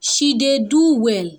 she dey do well